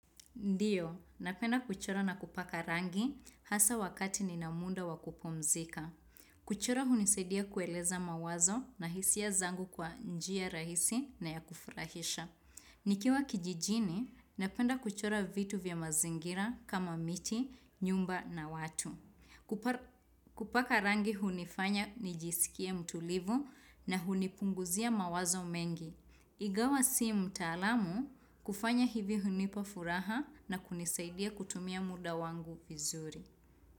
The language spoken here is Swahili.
Ndiyo, napenda kuchora na kupaka rangi hasa wakati nina muda wakupumzika. Kuchora hunisidia kueleza mawazo na hisia zangu kwa njia rahisi na ya kufurahisha. Nikiwa kijijini, napenda kuchora vitu vya mazingira kama miti, nyumba na watu. Kupaka rangi hunifanya nijisikie mtulivu na hunipunguzia mawazo mengi. Ingawa si mtaalamu kufanya hivi hunipa furaha na kunisaidia kutumia muda wangu vizuri.